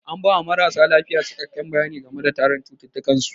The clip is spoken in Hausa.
An ba wa marasa lafiya cikakken bayani game da tarihin cututtukan su.